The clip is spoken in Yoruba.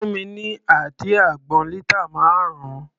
Fún mi ní àdí àgbọn lítà márùn-ún.